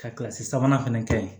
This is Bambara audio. Ka kilasi sabanan fana kɛ ye